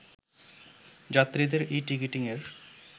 যাত্রীদের ই-টিকিটিং-এর